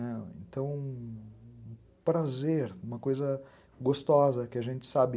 Então, um prazer, uma coisa gostosa que a gente sabe...